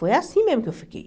Foi assim mesmo que eu fiquei.